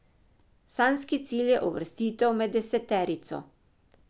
Sanjski cilj je uvrstitev med deseterico.